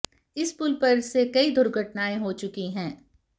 इस पुल पर से कई दुर्घटनाएं हो चुकी हैं